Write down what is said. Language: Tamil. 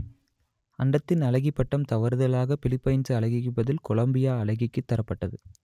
அண்டத்தின் அழகி பட்டம் தவறுதலாக பிலிப்பைன்சு அழகிக்கு பதில் கொலம்பியா அழகிக்கு தரப்பட்டது